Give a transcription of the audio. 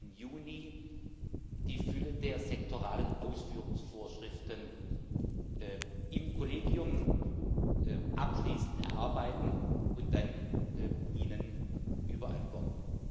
14. Juni die Fülle der sektoralen Ausführungsvorschriften im Kollegium abschließend erarbeiten und dann Ihnen überantworten.